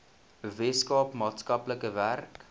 weskaapland maatskaplike werk